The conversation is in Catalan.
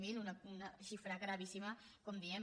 zero una xifra gravíssima com diem